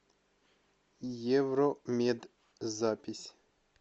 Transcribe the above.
евромед запись